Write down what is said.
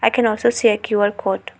I can also see a Q_R code.